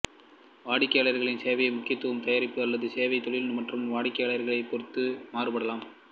வாடிக்கையாளர் சேவையின் முக்கியத்துவம் தயாரிப்பு அல்லது சேவை தொழில் மற்றும் வாடிக்கையாளரை பொறுத்து மாறுபடலாம்